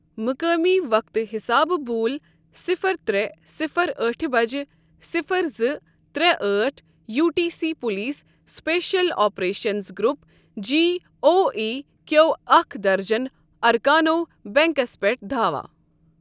مُقٲمی وقتہٕ حِسابہٕ بوٗل صفر ترٛے صفر ٲٹھ بجہِ صفر زٕ ترے اٹھ U T C police special operations group G O E Q اَکھ درجن اركانو بینٛکس پیٚٹھ دھاوا ۔